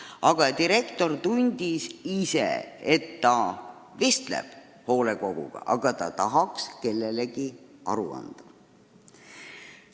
Aga direktor tundis, et ta vestleb hoolekoguga, ent ta tahaks kellelegi aru anda.